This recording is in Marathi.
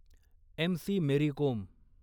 एम.सी. मेरी कोम